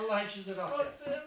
Vallah, işinizi rast gətirsin.